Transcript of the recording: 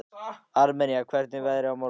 Armenía, hvernig er veðrið á morgun?